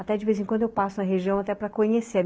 Até de vez em quando eu passo na região até para conhecer.